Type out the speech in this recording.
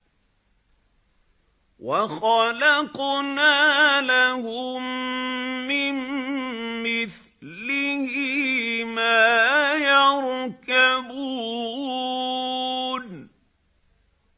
وَخَلَقْنَا لَهُم مِّن مِّثْلِهِ مَا يَرْكَبُونَ